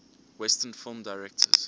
western film directors